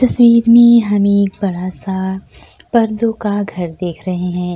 तस्वीर में हमें एक बड़ा सा पर्दॊ का घर देख रहें हैं।